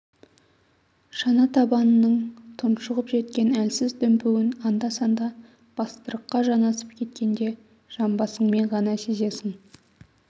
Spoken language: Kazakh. шана табанының тұншығып жеткен әлсіз дүмпуін анда-санда бастырыққа жанасып кеткенде жамбасыңмен ғана сезесің